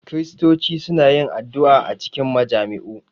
Kiristoci suna yin addu’a a cikin majami’u